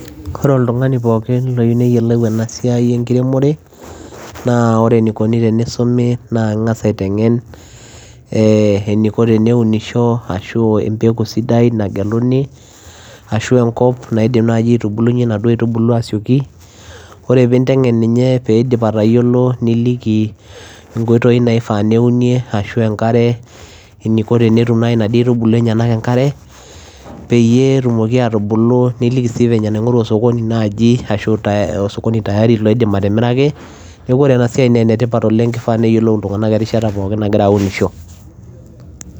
Ore oltung'ani pookin oyieu neyiolou ena siai enkiremore naa ore enikoni tenisumi naa ing'as aiteng'en ee eniko teneunisho ashu embeku sidai nageluni ashu enkop naidip aitubulu inaduo aitubulu asioki, ore pee inteng'en ninye pee iidip atayiolo niliki nkoitoi naifaa neunie ashu enkare eniko tenetuminaduo aitubulu enyenak enkare peyie etumoki aatubulu niliki sii venye naing'oru osokoni naajii ashu osokoni tayari oidim atimiraki, neeku ore ena siai naa netipat oleng' ifaa neyiolou iltung'anak erishata pookin nagira aunisho.